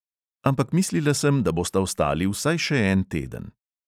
Ampak mislila sem, da bosta ostali vsaj še en teden.